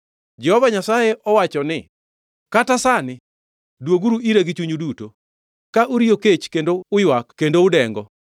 Jehova Nyasaye owacho ni, “Kata sani, dwoguru ira gi chunyu duto, ka uriyo kech kendo uywak kendo udengo.”